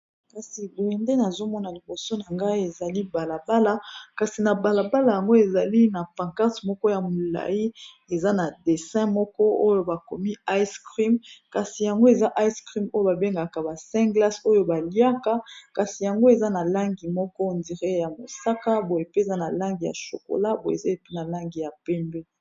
kasi boyende nazomona liboso na ngai ezali balabala kasi na balabala yango ezali na pankart moko ya molai eza na 1e00 moko oyo bakomi ice crem kasi yango eza ice cream oyo babengaka ba 10 glace oyo baliaka kasi yango eza na langi moko ndire ya mosaka boyepeza na langi ya shokola bo eza epe na langi ya pembe